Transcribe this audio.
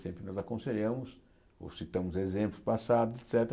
Sempre nós aconselhamos ou citamos exemplos passados, et cétera.